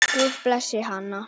Guð blessi hann.